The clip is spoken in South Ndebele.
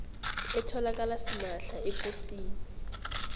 etholakala simahla eposini